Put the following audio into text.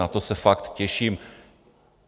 Na to se fakt těším.